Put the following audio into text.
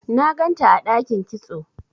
na ganta a dakin kitso